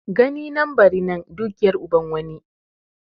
Gani nan bari nan dukiyar uban wani.